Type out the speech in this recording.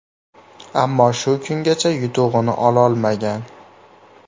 Ammo shu kungacha yutug‘ini ololmagan.